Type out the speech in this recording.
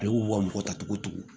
Ale y'u ka mɔgɔ ta togo togo